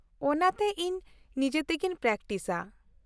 ᱼᱚᱱᱟᱛᱮ ᱤᱧ ᱱᱤᱡᱮᱛᱮᱜᱤᱧ ᱯᱨᱮᱠᱴᱤᱥᱼᱟ ᱾